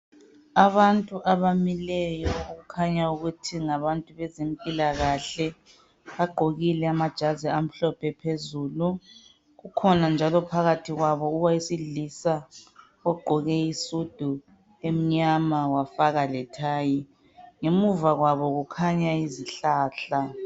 Abantu abamileyo okukhanya ukuthi ngabantu bezempilakahle bagqokile amajazi amhlophe phezulu. Kukhona njalo phakathi kwabo owesilisa ogqoke isudu emnyama wafaka lethayi. Ngemuva kwabo kukhanya zihlahla.